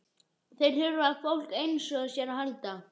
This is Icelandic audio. Þeir þurfa á fólki einsog þér að halda.